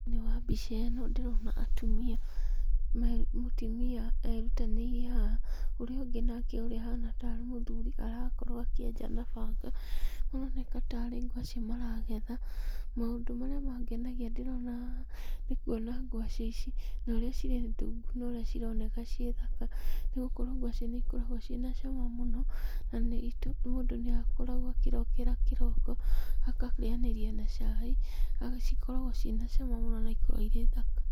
Nĩwambica ĩno ndĩrona atumia, me, mũtumia, erutanĩirie haha, ũrĩa ũngĩ nake ũrĩa ũhana tarĩ mũthuri arakorũo akĩenja na banga, maroneka tarĩ ngwacĩ maragetha, maũndũ marĩa mangenagia ndĩrona haha, nĩkuona ngwacĩ ici, naũrĩa cirĩ ndungu, naũrĩa cironeka ciĩ thaka, nĩgũkorũo ngwacĩ nĩikoragũo ciĩna cama mũno, na nĩitũ, mũndũ nĩakoragũo akĩrokera kĩroko, akarĩanĩria na cai, agacikorogo ciĩ na cama mũno na nĩikoragũo irĩ thaka.